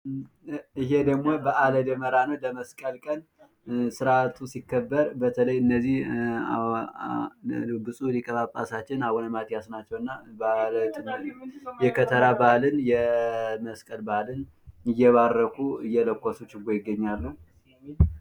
ይሄ ደግሞ በአለ ደመራ ነው። የመስቀል ቀን ስርአቱ ሲከበር በተለይ እነዚህ ብጹዕ ሊቀ ጳጳሳችን አቡነ ማቲያስ ናቸው እና የከተራ በዓልን(የመስቀል በዓልን) እየባረኩ ፣እየለኮሱ ችቦ ይገኛሉ።